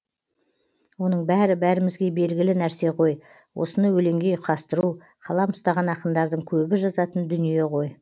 оның бәрі бәрімізге белгілі нәрсе ғой осыны өлеңге ұйқастыру қалам ұстаған ақындардың көбі жазатын дүние ғой